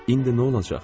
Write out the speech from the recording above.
İndi nə olacaq?